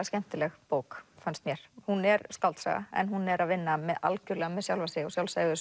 skemmtileg bók fannst mér hún er skáldsaga en hún er að vinna algjörlega með sjálfa sig og